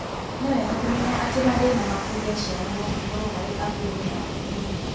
Nĩ wega kũmenya atĩ mathĩna ma kũgĩa ciana no makorũo harĩ athuri na atumia.